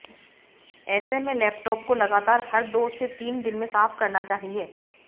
ऐसे में लैपटॉप को लगातार हर दो से तीन दिन में साफ करना चाहिए